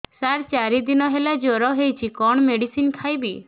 ସାର ଚାରି ଦିନ ହେଲା ଜ୍ଵର ହେଇଚି କଣ ମେଡିସିନ ଖାଇବି